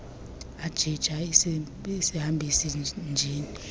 ajija isihambisi njini